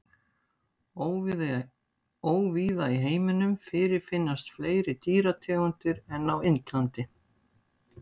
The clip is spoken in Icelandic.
Óvíða í heiminum fyrirfinnast fleiri dýrategundir en á Indlandi.